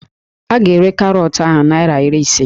A ga-ere karọọtụ ahụ naịra iri ise